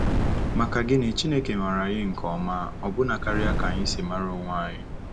Maka gini, Chineke maara anyị nke ọma ọbụna karịa ka anyị si mara onwe anyị!